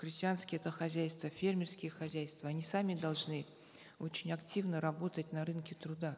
крестьянские то хозяйства фермерские хозяйства они сами должны очень активно работать на рынке труда